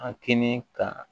A kɛnɛ ka